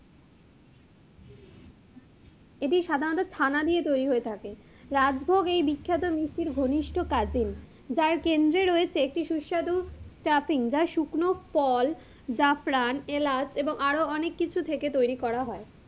এটি সাধারনত ছানা দিয়ে তৈরি হয়ে থাকে, রাজভোগ এই বিখ্যাত মিষ্টির ঘনিষ্ট cousin যার কেন্দ্রে রয়েছে একটি সুস্বাদু stuffing যা শুকনো ফল, জাফরান, এলাচ এবং আরো অনেক কিছু থেকে তৈরি করা হয়,